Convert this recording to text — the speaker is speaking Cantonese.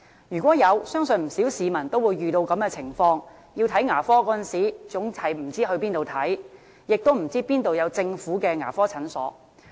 如果有，相信不少市民都會遇到這種情況：在有需要看牙科時，總是不知道往哪裏求診，亦不知道哪裏有政府牙科診所。